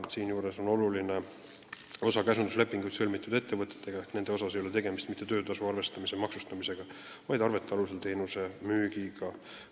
Oluline on see, et käsunduslepinguid sõlminud ettevõtete puhul ei ole tegemist mitte töötasu arvestamise maksustamisega, vaid arvete alusel teenuse müügiga.